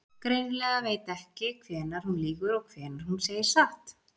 Greinilega veit ekki hvenær hún lýgur og hvenær hún segir satt.